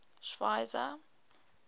schweizer